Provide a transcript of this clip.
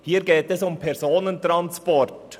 Hier geht es um Personentransport.